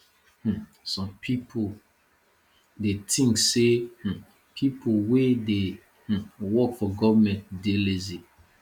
um some pipo dey think sey um pipo wey dey um work for government dey lazy